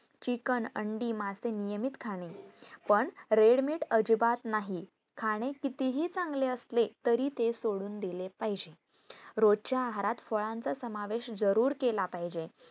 chiken अंडी, मासे, नियमित खाणे, पण red meat अजिबात नाही खाणे कितीही चांगले असले तरी ते सोडून दिले पाहिजे रोजच्या आहारात फळांचा समावेश जरूर केला पाहिजे